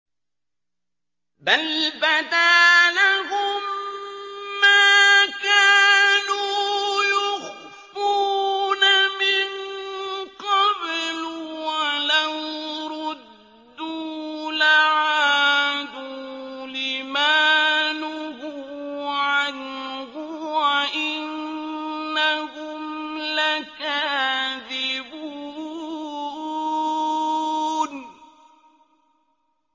بَلْ بَدَا لَهُم مَّا كَانُوا يُخْفُونَ مِن قَبْلُ ۖ وَلَوْ رُدُّوا لَعَادُوا لِمَا نُهُوا عَنْهُ وَإِنَّهُمْ لَكَاذِبُونَ